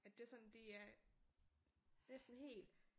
At det er sådan det er næsten helt